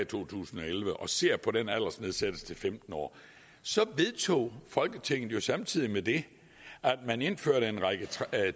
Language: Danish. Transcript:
to tusind og elleve og ser på den aldersnedsættelse til femten år så vedtog folketinget jo samtidig med det at indføre en række